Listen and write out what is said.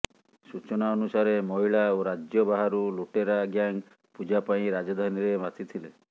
ସୁଚନା ଅନୁସାରେ ମହିଳା ଓ ରାଜ୍ୟ ବାହାରୁ ଲୁଟେରା ଗ୍ୟାଙ୍ଗ ପୁଜା ପାଇଁ ରାଜଧାନୀରେ ମାତିଥିଲେ